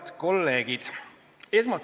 Head kolleegid!